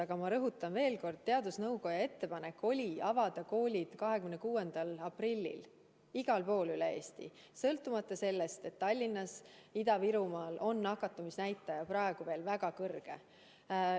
Aga ma rõhutan veel kord: teadusnõukoja ettepanek oli avada koolid 26. aprillil igal pool üle Eesti, kuigi Tallinnas ja Ida-Virumaal on nakatumisnäitaja praegu veel väga kõrge.